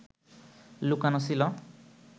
লুকোনো ছিল